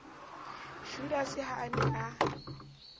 judase ha a ne a